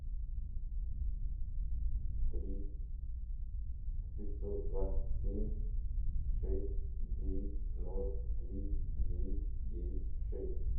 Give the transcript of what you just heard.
три пятьсот двадцать семь шесть девять ноль три девять девять шесть